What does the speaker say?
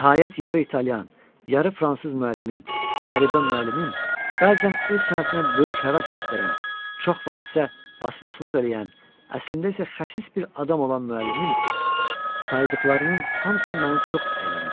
Nəhayət yarı italyan, yarı fransız müəllimim, qəribə müəllimim, bəzən öz sənətinə böyük həvəs göstərən, çox vaxt isə basbaslıq eləyən, əslində isə xəsis bir adam olan müəllimim saydıqlarının hamısı məni çox əyləndirir.